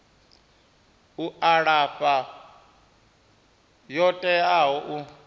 u alafha yo teaho u